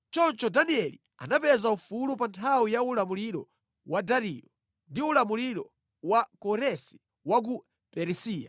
Choncho Danieli anapeza ufulu pa nthawi ya ulamuliro wa Dariyo ndi ulamuliro wa Koresi wa ku Perisiya.